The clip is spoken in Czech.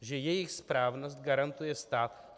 Že jejich správnost garantuje stát.